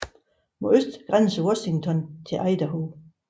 Mod øst grænser Washington til Idaho